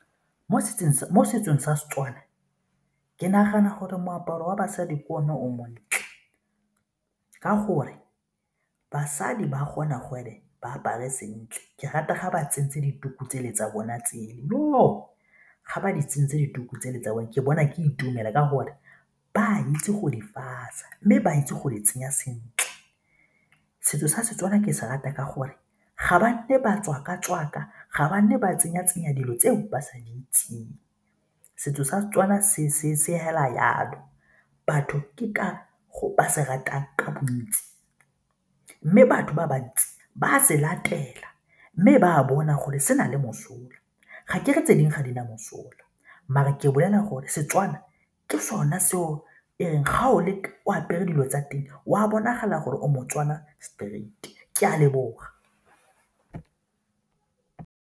Mo setsong sa Setswana ke nagana gore moaparo wa basadi ke o ne o montle ka gore basadi ba gona gore ba apare sentle ke rata ga ba tsentse dituku tsele tsa bona tsela ga ba di tsentse dituku tsele tsa bona ke bona ke itumela ka gore ba itse go di fasa mme ba itse go di tsenya sentle. Setso sa setswana ke se rata ka gore ga ba batswaka-tswaka, ga ba nne ba tsenya-tsenya dilo tseo ba sa di itseng. Setso sa Setswana se fela jalo, batho ke ka foo ba se ratang ka bontsi mme batho ba bantsi ba a se latela mme ba a bona gore se na le mosola, ga ke re tse dingwe ga di na mosola mare ke bolela gore Setswana ke sone seo e reng ga o leka o apere dilo tsa teng o a bonagala gore o moTswana straight, ke a leboga.